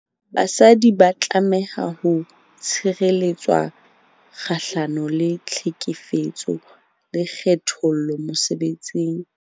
Basadi ba tlameha ho tshireletswa kgahlano le tlhekefetso le kgethollo mosebetsing.